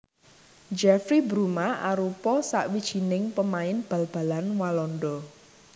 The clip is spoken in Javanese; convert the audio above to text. Jeffrey Bruma arupa sawijining pamain bal balan Walanda